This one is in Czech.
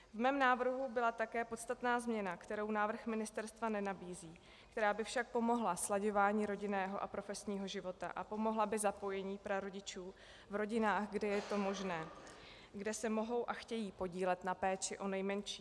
V mém návrhu byla také podstatná změna, kterou návrh ministerstva nenabízí, která by však pomohla slaďování rodinného a profesního života a pomohla by zapojení prarodičů v rodinách, kde je to možné, kde se mohou a chtějí podílet na péči o nejmenší.